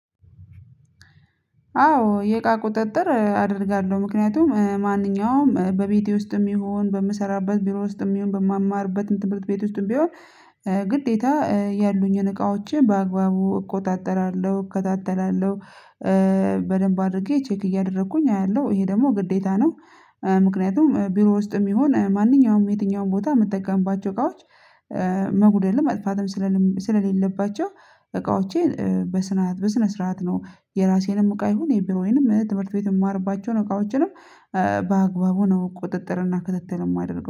አዎ የእቃ ቁጥጥር አደርጋለሁ። ምክንያቱም ማንኛውም በቤቴ ውስጥም ይሁን፣ በምሰራበት ቢሮ ውስጥም ይሁን፣ በምማርበትም ትምህርት ቤት ውስጥም ቢሆን ግዴታ ያሉኝን እቃዎቼ በአግባቡ እቆጣጠራለሁ እከታተላለሁ። በደንብ አድርጌ ቼክ እያደረኩኝ አያለሁ፤ ይሄ ደግሞ ግዴታ ነው። ምክንያቱም ቢሮ ውስጥም ይሁን ማንኛውም የትኛውም ቦታ የምትጠቀምባቸው እቃዎች መጉደል መጥፋትም ስለሌ ስለሌለባቸው እቃዎቼን በስነ ስርዓት ነው የራሴንም እቃ ይሁን፣ የቢሮዬንም፣ ትምህርት ቤት የማርባቸውን እቃዎችንም፣ በአግባቡ ነው ቁጥጥር እና ክትትልም የማደረገው